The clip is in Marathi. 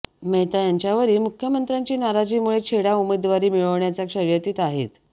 मेहता यांच्यावरील मुख्यमंत्र्यांची नाराजीमुळे छेडा उमेदवारी मिळविण्याच्या शर्यतीत आहेत